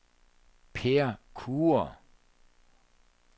Peer Kure